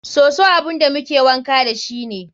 Soso abun da muke wanka dashi ne.